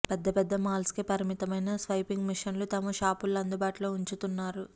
పెద్ద పెద్ద మాల్స్ కే పరిమితమైన స్వైపింగ్ మెషీన్లను తమ షాపుల్లో అందుబాటులో ఉంచుతున్నారు